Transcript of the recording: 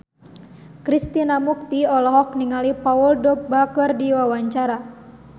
Krishna Mukti olohok ningali Paul Dogba keur diwawancara